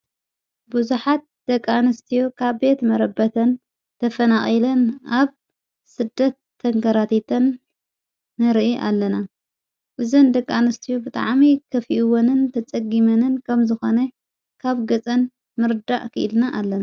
ብዙኃት ደቂ ኣነስትዮ ካብ ቤት መረበተን ተፈናቂለን ኣብ ስደት ተንገራቲተን ንርኢ ኣለና ብዘን ደቃንስትዩ ብጥዓሚ ከፊኡዎንን ተጸጊመንን ከም ዝኾነ ካብ ገጸን ምርዳእ ኽኢልና ኣለና።